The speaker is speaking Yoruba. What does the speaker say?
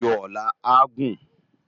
Irin ájó òlà á gún